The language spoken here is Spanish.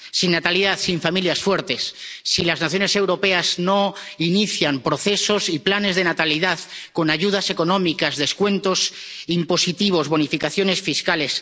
Sin natalidad, sin familias fuertes, si las naciones europeas no inician procesos y planes de natalidad con ayudas económicas, descuentos impositivos, bonificaciones fiscales